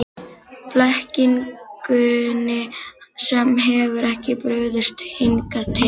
Blekkingunni sem hefur ekki brugðist hingað til.